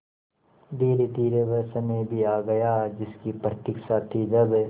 धीरेधीरे वह समय भी आ गया जिसकी प्रतिक्षा थी जब